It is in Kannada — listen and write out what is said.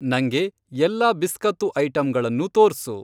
ನಂಗೆ ಎಲ್ಲಾ ಬಿಸ್ಕತ್ತು ಐಟಂಗಳನ್ನೂ ತೋರ್ಸು.